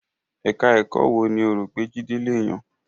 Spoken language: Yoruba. Ẹka ẹ̀kọ́ wo ni ó rò pé Jídé le yàn?